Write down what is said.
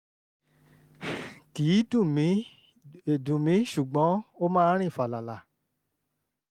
kì í dùn mí í dùn mí ṣùgbọ́n ó máa ń rìn fàlàlà